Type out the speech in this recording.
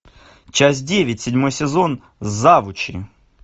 часть девять седьмой сезон завучи